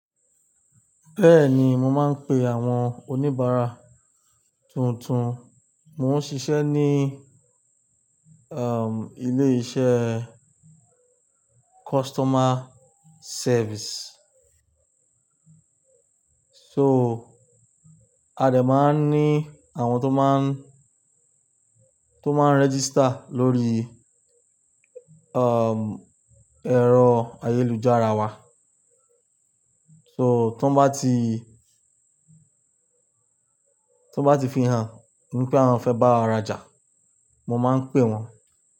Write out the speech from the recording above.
Bẹ́ẹ̀ni, mo máa ń pe àwọn oníbàárà tuntun. Mo ń ṣiṣẹ́ ní, um, ilé iṣẹ́ customer service. So a dè máa ń ní àwọn tó máa ń, tó máa ń register lórí, um, ẹ̀rọ ayélujára wa. So tó bá ti, tó bá ti fihàn wípé àwọn fẹ́ bá wa rajà, mo máa ń pè wọ́n.